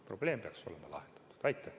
Probleem peaks olema lahendatud.